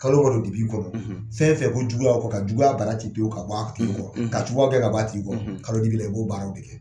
Kalo walo dibi kɔ fɛn fɛn ko juguya kɔ ka juguya bara ci pewu ka bɔ a tigi kɔrɔ ka juguya gɛn ka bɔ a tigi kɔrɔ, kalo dibi la i b'o baaraw de kɛ